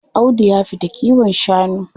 Audu ya fita kiwon shanu.